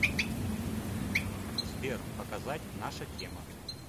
сбер показать наша тема